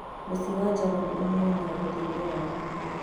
Mũciĩ wa Java nĩ ũheanaga ũteithio wa gũkuua